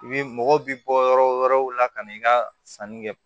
I bi mɔgɔw bi bɔ yɔrɔ wɛrɛw la ka na i ka sanni kɛ